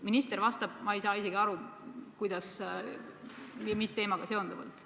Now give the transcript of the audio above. Minister vastas, ma ei saanud isegi aru, mis teemaga seonduvalt.